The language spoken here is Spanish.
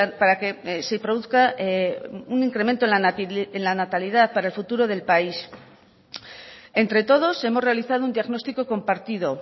para que se produzca un incremento en la natalidad para el futuro del país entre todos hemos realizado un diagnóstico compartido